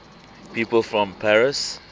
people from paris